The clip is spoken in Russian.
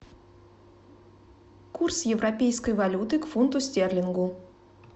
курс европейской валюты к фунту стерлингу